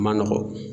Ma nɔgɔ